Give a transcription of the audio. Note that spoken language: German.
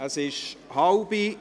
Es ist halb.